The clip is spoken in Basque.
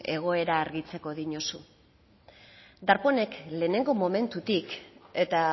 egoera argitzeko dinozu darpónek lehenengo momentutik eta